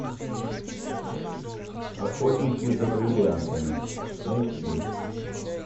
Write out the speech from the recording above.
охотники за бриллиантами найти